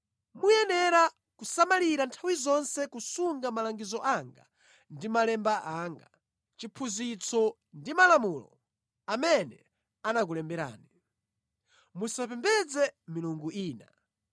Muyenera kusamalitsa nthawi zonse kusunga malangizo anga ndi malemba anga, chiphunzitso ndi malamulo amene anakulemberani. Musapembedze milungu ina.